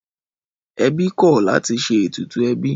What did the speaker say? Ẹbí kọ̀ láti ṣe ètùtù ẹbí